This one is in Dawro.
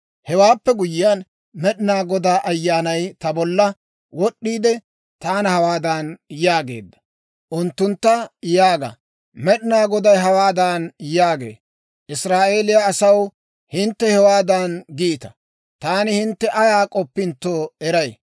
Hewaappe guyyiyaan, Med'inaa Godaa Ayyaanay ta bolla wod'd'iide, taana hawaadan yaageedda; «Unttuntta yaaga; Med'inaa Goday hawaadan yaagee; ‹Israa'eeliyaa asaw, hintte hewaadan giita; taani hintte ayaa k'oppintto eray.